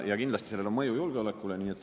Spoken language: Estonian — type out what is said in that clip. Ja kindlasti sellel on mõju julgeolekule.